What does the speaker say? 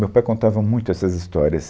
Meu pai contava muito essas histórias.